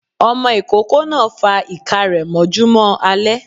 Ọmọ ikoko náá fa iká rẹ mọjúmọ alẹ